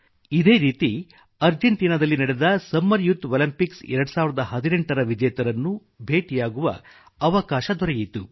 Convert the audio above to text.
ಇದೇ ರೀತಿ ಅರ್ಜೆಂಟೀನಾ ದಲ್ಲಿ ನಡೆದ ಸಮ್ಮರ್ ಯುತ್ ಒಲಿಂಪಿಂಕ್ಸ್ 2018 ರ ವಿಜೇತರನ್ನು ಭೇಟಿಯಾಗುವ ಅವಕಾಶ ದೊರೆಯಿತು